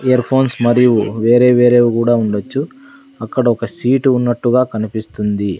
Ear phones మరియు వేరే వేరేవి గూడా ఉండొచ్చు అక్కడ ఒక సీటు ఉన్నట్టుగా కనిపిస్తుంది.